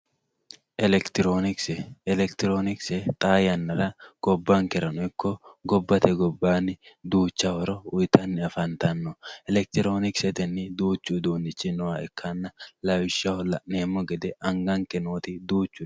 elekitroonikise elekitroonikise xaa yannara gobbankerano ikko gobbate gobbaani duucha horo uyiitanni afanttanno elekitroonikisetenni duuchu uduunichi nooha ikkanna lawishshaho la'neemo gede anganke nooti duuchu